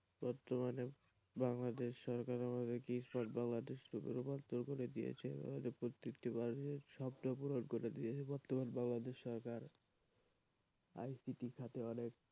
বর্তমানে বাংলাদেশ সরকার আমাদের সব বাংলাদেশ সরকার প্রতিটি মানুষের স্বপ্ন পূরণ করে দিয়েছে বর্তমান বাংলাদেশ সরকার ICT খাতে অনেক,